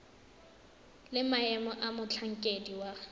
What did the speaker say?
le maemo a motlhankedi wa